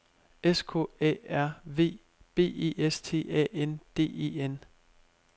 S K A R V B E S T A N D E N